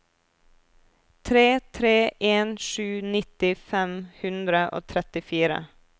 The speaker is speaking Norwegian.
tre tre en sju nitti fem hundre og trettifire